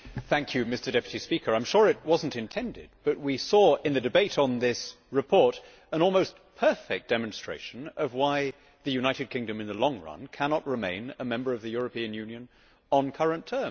Mr President, I am sure it was not intended, but we saw in the debate on this report an almost perfect demonstration of why the United Kingdom, in the long run, cannot remain a member of the European Union on current terms.